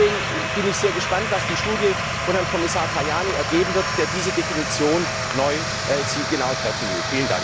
Deswegen bin ich sehr gespannt, was die Studie von Herrn Kommissar Tajani ergeben wird, der diese Definition neu zielgenau treffen will.